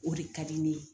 O de ka di ne ye